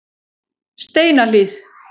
Steinahlíð